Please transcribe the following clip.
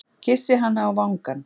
Kyssi hana á vangann.